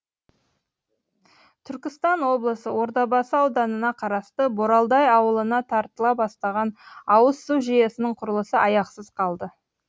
түркістан облысы ордабасы ауданына қарасты боралдай ауылына тартыла бастаған ауыз су жүйесінің құрылысы аяқсыз қалды